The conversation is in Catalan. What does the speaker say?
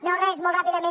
no res molt ràpidament